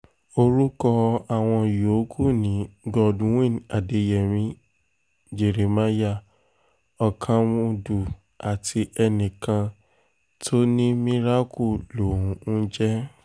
orúkọ àwọn yòókù ni godwin adeyemi jeremiah ọkámúdámùdù àti enìkan tó ní miracle lòún ń jẹ́